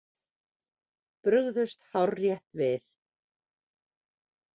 Brugðust hárrétt við